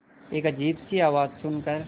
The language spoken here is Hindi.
एक अजीब सी आवाज़ सुन कर